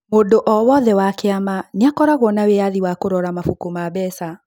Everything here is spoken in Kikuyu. Mũndũ o wothe wa kĩama nĩ akoragũo na wĩyathi wa kũrora mabuku ma mbeca.